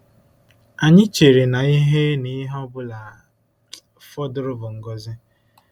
Anyị chere na ihe ọ na ihe ọ bụla fọdụrụ bụ ngọzi.